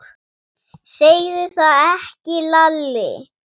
Segðu það ekki Lalli!